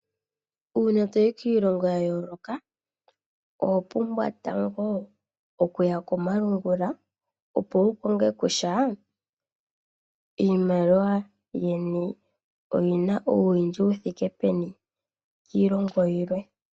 Uuna toyi kiilongo ya yooloka oho pumbwa tango okuya komalungula opo wu konge kosha iimaliwa yeni oyina ouwindji wu thike peni kiilongo yilwe.